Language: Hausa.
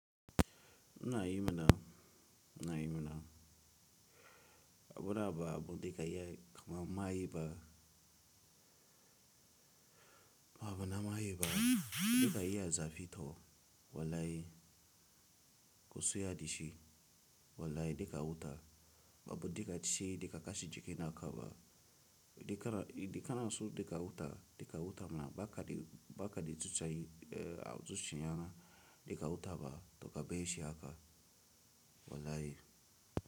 Ina yi mana, ina yi mana. Abu na ba abu dika yi ma mayi ba. Abu na mayi ba dika yi a zafi to wallahi ku suya da shi wallahi dika wuta. Abu dika ce dika kashi jiki na karba. Dika na, dika na so dika wuta, dika wuta mana ba ka de, ba ka de tausayu a tsutsa yana dika wuta ba to ka be shi aka wala yi.